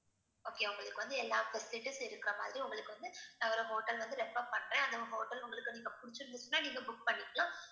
okay உங்களுக்கு வந்து எல்லா facilities இருக்கிற மாதிரி உங்களுக்கு வந்து நான் ஒரு hotel வந்து refer பண்றேன் அந்த hotel உங்களுக்கு நீங்க புடிச்சிருந்துச்சினா நீங்க book பண்ணிக்கலாம்